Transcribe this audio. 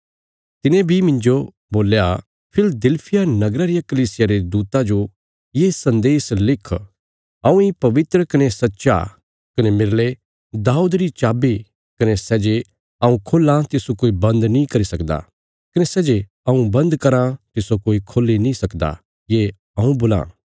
तिने बी मिन्जो बोल्या फिलदिलफिया नगरा रिया कलीसिया रे दूता जो ये सन्देश लिख हऊँ इ पवित्र कने सच्चा कने मेरले दाऊद री चाबी कने सै जे हऊँ खोल्लां तिस्सो कोई बन्द नीं करी सकदा कने सै जे हऊँ बन्द कराँ तिस्सो कोई खोल्ही नीं सकदा ये हऊँ बोलां